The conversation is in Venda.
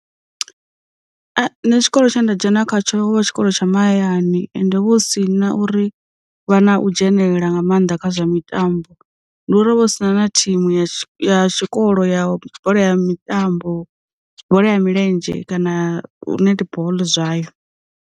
Nṋe tshikolo tsha nda dzhena khatsho vha tshikolo tsha mahayani, ende vho hu si na uri vha na u dzhenelela nga maanḓa kha zwa mitambo ndi uri hovha hu si na na thimu ya ya tshikolo ya tshikolo ya mitambo, bola ya milenzhe kana netball zwayo.